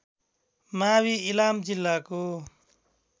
मावि इलाम जिल्लाको